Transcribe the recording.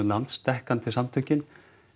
landsdekkandi samtökin